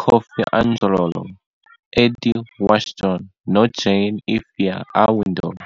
Kofi Adjorlolo, Eddie Watson noJane 'Efya' Awindor.